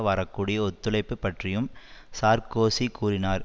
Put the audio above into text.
வரக்கூடிய ஒத்துழைப்பு பற்றியும் சார்க்கோசி கூறினார்